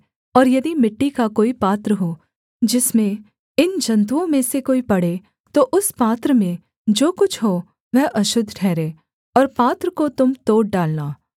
और यदि मिट्टी का कोई पात्र हो जिसमें इन जन्तुओं में से कोई पड़े तो उस पात्र में जो कुछ हो वह अशुद्ध ठहरे और पात्र को तुम तोड़ डालना